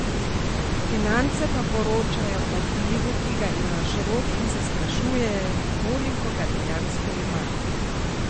Finance pa poročajo o vplivu, ki ga ima Šrot, in se sprašujejo, koliko ga dejansko ima.